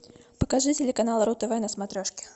покажи телеканал ру тв на смотрежке